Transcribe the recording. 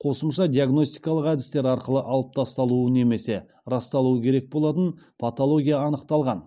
қосымша диагностикалық әдістер арқылы алып тасталуы немесе расталуы керек болатын патология анықталған